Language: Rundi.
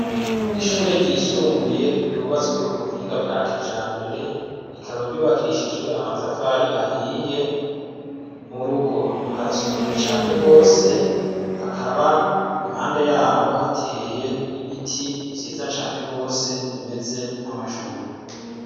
Ishure ryisumbuye ryubatswe ku buhinga bwa kijambere rikaba ryubakishijwe amatafari ahiye mu rugo harasukuye cane rwose hakaba impande yaho hateye ibiti vyiza cane rwose bimeze nk'amashurwe.